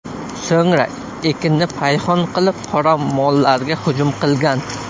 So‘ngra ekinni payhon qilib, qora mollarga hujum qilgan.